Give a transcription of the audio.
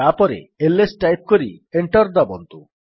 ତାପରେ IS type କରି enter ଦାବନ୍ତୁ